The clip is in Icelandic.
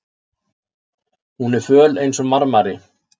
Hún er föl einsog marmari.